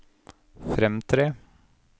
fremtre